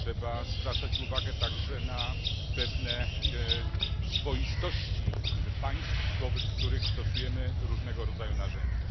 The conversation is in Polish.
Trzeba zwracać uwagę także na pewne swoistości państw, wobec których stosujemy różnego rodzaju narzędzia.